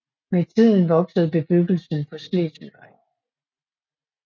Med tiden voksede bebyggelsen ved Slesvigvej